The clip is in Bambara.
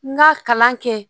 N ka kalan kɛ